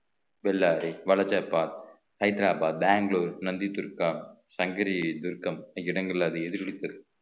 பெல்லாரி வலஜப்பாத் ஹைதராபாத் பெங்களூர் நந்திதுர்கா சங்கரி துர்க்கம் இடங்கள்ல அது எதிரொலித்தது